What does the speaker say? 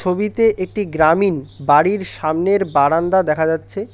ছবিতে একটি গ্রামীণ বাড়ির সামনের বারান্দা দেখা যাচ্ছে।